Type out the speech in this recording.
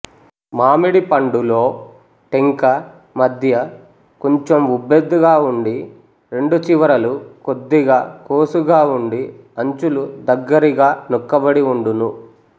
మామిడి పండులో టెంక మధ్యకొంచెం వుబ్బెత్తుగా వుండి రెండు చివరలు కొద్దిగా కోసుగా వుండి అంచులు దగ్గరిగా నొక్కబడి వుండును